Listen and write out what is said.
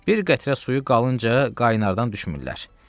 Bir qətrə suyu qalınca qaynardann düşmürlər.